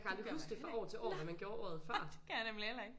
Jeg kan aldrig huske det fra år til år hvad man gjorde året før